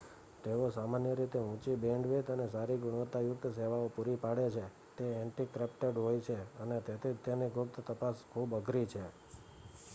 તેઓ સામાન્ય રીતે ઊંચી બેન્ડવિથ અને સારી ગુણવતાયુક્ત સેવાઓ પૂરી પાડે છે તે એનક્રીપ્ટેડ હોય છે અને તેથી જ તેની ગુપ્ત તપાસ ખૂબ અઘરી છે